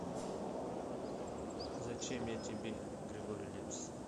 зачем я тебе григорий лепс